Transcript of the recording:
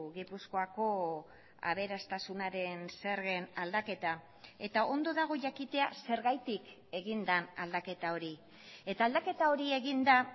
gipuzkoako aberastasunaren zergen aldaketa eta ondo dago jakitea zergatik egin den aldaketa hori eta aldaketa hori egin da